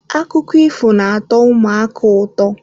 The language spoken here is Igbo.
Akụkọ ifo na-atọ ụmụaka ụtọ.